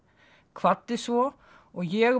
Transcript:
kvaddi svo og ég